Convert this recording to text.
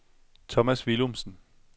Thomas Willumsen